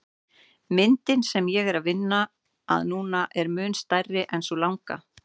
Myndin sem ég er að vinna að núna er mun stærri en sú langa.